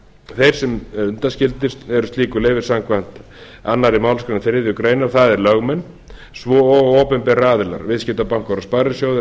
þeir sem undanskildir eru slíku leyfi samkvæmt annarri málsgrein þriðju grein það eru lögmenn svo og opinberir aðilar viðskiptabankar og